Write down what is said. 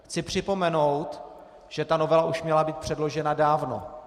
Chci připomenout, že ta novela už měla být předložena dávno.